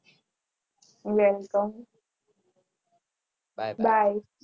Welcome bye